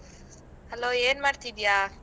Hello ಏನ್ ಮಾಡ್ತಿದೀಯಾ?